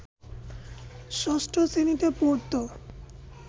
ষষ্ঠ শ্রেণিতে পড়ত